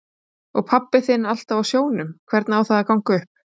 Og pabbi þinn alltaf á sjónum, hvernig á það að ganga upp?